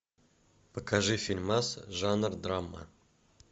покажи фильмас жанр драма